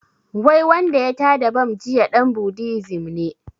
Wai wanda ya tada bam jiya ɗan buddism ne